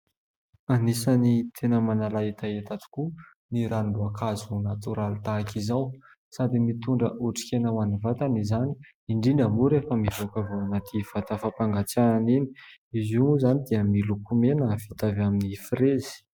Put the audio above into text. Anisany tena manala hetaheta tokoa ny ranom- boankazo natoraly tahaka izao. Sady mitondra otrikaina ho an' ny vatana izany, indrindra moa rehefa mivoaka avy ao anaty vata fampangatsiahana iny. Izy io moa izany dia miloko mena vita avy amin'ny frezy.